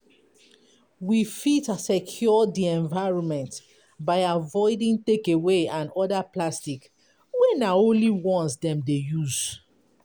We fit secure di environment by avoiding takeaway and oda plastic wey na only once dem dey use